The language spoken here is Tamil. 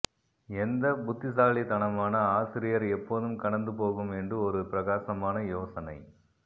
எந்த புத்திசாலித்தனமான ஆசிரியர் எப்போதும் கடந்து போகும் என்று ஒரு பிரகாசமான யோசனை